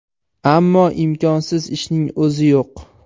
Ammo imkonsiz ishning o‘zi yo‘q.